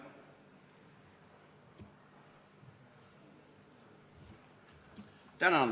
Palun!